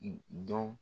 Dɔn